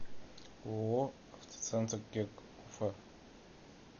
ооо автоцентр керг уфа